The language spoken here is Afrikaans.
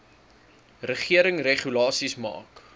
regering regulasies maak